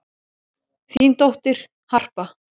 Þín dóttir, Harpa.